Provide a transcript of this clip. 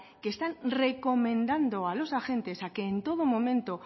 que están recomendando a los agentes a que en todo momento